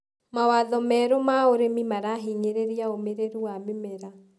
Mawatho merũ ma ũrĩmi marahinyĩrĩria ũmĩrĩru wa mĩmera.